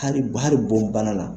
Hali hali bɔn banna la.